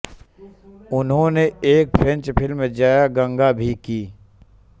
उन्होंने एक French film Jaya Ganga भी की